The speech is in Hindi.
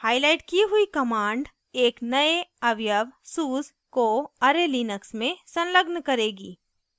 हाईलाइट की हुई command एक नए अवयव suse को array लिनक्स में संलग्न करेगी